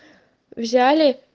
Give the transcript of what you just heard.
взяли